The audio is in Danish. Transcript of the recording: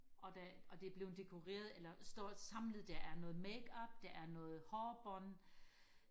og der og det er blevet dekoreret eller står samlet der er noget makeup der er noget hårbånd